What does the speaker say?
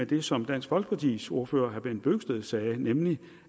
det som dansk folkepartis ordfører herre bent bøgsted sagde nemlig